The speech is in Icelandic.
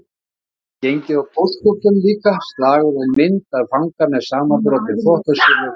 Gæti gengið á póstkortum líka, slagorð og mynd af fanga með samanbrotinn þvott á silfurfati